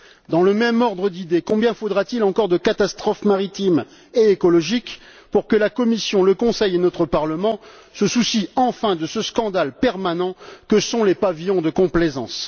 Dans le même ordre d'idées, combien faudra t il encore de catastrophes maritimes et écologiques pour que la Commission, le Conseil et notre Parlement se soucient enfin de ce scandale permanent que sont les pavillons de complaisance?